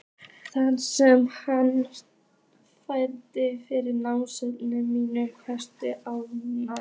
Þennan sem hann fær fyrir nánast níu misheppnuð ár?